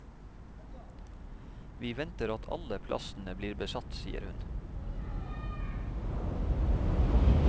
Vi venter at alle plassene blir besatt, sier hun.